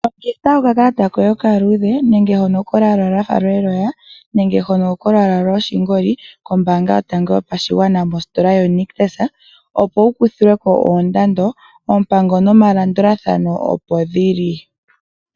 Longitha oka kalata koye oka luudhe nenge hono kolwaala lwafa lweloya, nenge hono kolwaala lwoshingoli, kombaanga yotango yopashigwana mositola yoNictus, opo wu kuthilwe ko oondando, oompango no malandulathano opo dhili.